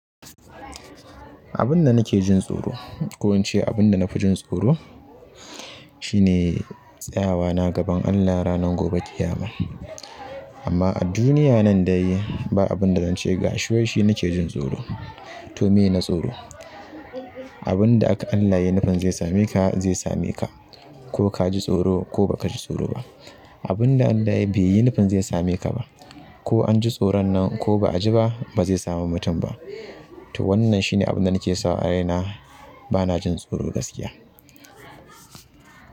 Abun da nake jin tsoro ko ince abun da na fi jin tsoro shine tsayawa na gaban Allah ranar gobe ƙiyama. Amma a duniya nan dai ba abun da zan ce gashi shi waishi nake jin tsoro to me na tsoro. Abun da Allah yi nufin zai same ka zai same ka ko ka ji tsoro ko ba ka ji tsoro. Abun da Allah ya baiyi nufin zai same ka ba ko an ji tsoron nan ko ba a ji ba ba zai samu mutum ba. To wannan shine abun da nake sawa a raina na bana jin tsoro gaskiya.